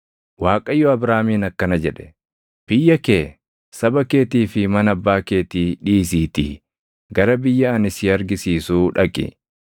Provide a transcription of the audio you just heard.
Waaqayyo Abraamiin akkana jedhe; “Biyya kee, saba keetii fi mana abbaa keetii dhiisiitii gara biyya ani si argisiisuu dhaqi.